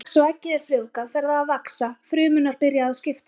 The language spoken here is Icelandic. Strax og eggið er frjóvgað fer það að vaxa, frumurnar byrja að skiptast.